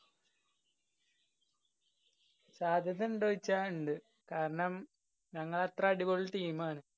സാധ്യതണ്ടോ ചോയ്ച്ചാ ഇണ്ട്. കാരണം ഞങ്ങളത്ര അടിപൊളി team ആണ്.